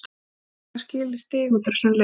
Mér fannst við eiga skilið stig út úr þessum leik.